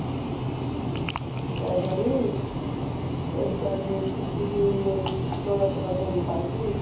ਪੈ ਜਾਣੀ ਅਹ ਜਦ ਮੇਰੀ ਟੁੱਟੀ ਸੀ ਮੇਰੀ ਚੌਦਾਂ ਚੌਦਾਂ ਸੌ ਦੀ ਪਾਈ ਸੀ।